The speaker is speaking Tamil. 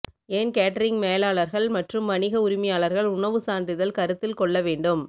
ஏன் கேட்டரிங் மேலாளர்கள் மற்றும் வணிக உரிமையாளர்கள் உணவு சான்றிதழ் கருத்தில் கொள்ள வேண்டும்